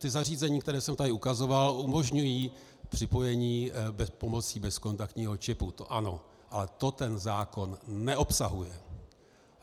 Ta zařízení, která jsem tady ukazoval, umožňují připojení pomocí bezkontaktního čipu, to ano, ale to ten zákon neobsahuje.